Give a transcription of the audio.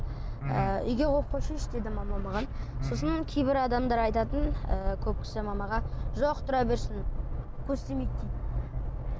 ы үйге қойып қойсайшы дейді мама маған мхм сосын кейбір адамдар айтатын ііі көп кісі мамаға жоқ тұра берсін көз тимейді дейді